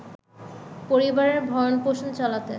পরিবারের ভরণ-পোষণ চালাতে